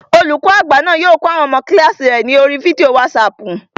Olùkọ́ àgbà náà yóò kọ́ àwọn ọmọ kílààsì rẹ̀ ní oríi fídíò wátísapù